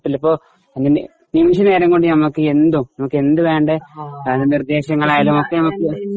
ചിലപ്പോ നിമിഷനേരം കൊണ്ട് നമുക്ക് നമുക്കെന്തു വേണ്ടേ